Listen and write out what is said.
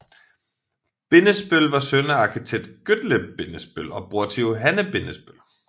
Bindesbøll var søn af arkitekt Gottlieb Bindesbøll og bror til Johanne Bindesbøll